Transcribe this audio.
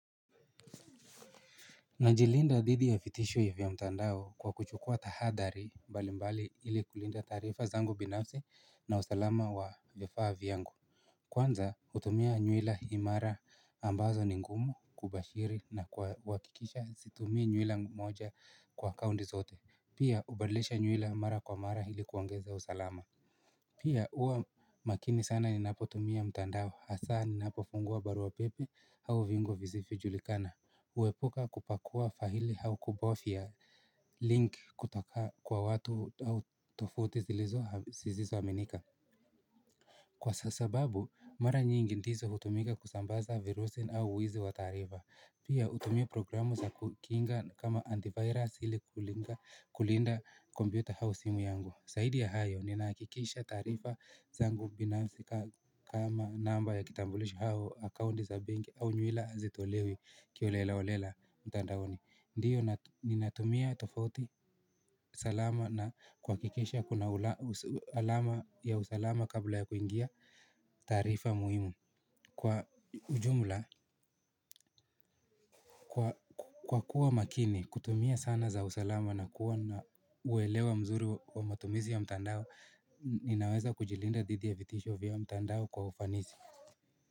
Najilinda dhidi ya vitisho vya mtandao kwa kuchukua tahadhari mbali mbali ili kulinda taarifa zangu binafsi na usalama wa vifaa vyangu. Kwanza hutumia nywila imara ambazo ni ngumu kubashiri na kwa kuhakikisha situmii nywila moja kwa akaunti zote pia hubandilisha nywila mara kwa mara ili kuongeza usalama. Pia huwa makini sana ninapotumia mtandao hasa ninapo fungua barua pepe au viungo visivyo julikana huepuka kupakua faili au kubofya link kutoka kwa watu au tovuti zilizo au zisizo aminika. Kwa sababu mara nyingi ndizo hutumika kusambaza virusi au wizi wa taarifa. Pia hutumia programu za kukinga kama antivirus ili kulinda kompyuta au simu yangu zaidi ya hayo, ninahakikisha taarifa zangu binafsi kama namba ya kitambulisho au, account za benki au nywila hazitolewi kiholela holela mtandaoni. Ndio, ninatumia tofauti salama na kwa kuhakikisha kuna alama ya usalama kabla ya kuingia taarifa muhimu. Kwa ujumula, kwa kuwa makini, kutumia sana za usalama na kuwa na uelewa mzuri wa matumizi ya mtandao, ninaweza kujilinda dhidi ya vitisho vya mtandao kwa ufanisi.